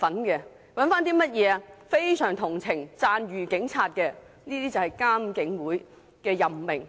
一些非常同情並讚譽警察的人士，這就是監警會的任命方式。